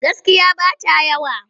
Gaskiya ba ta yawa.